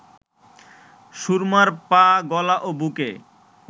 সুরমার পা, গলা ও বুকে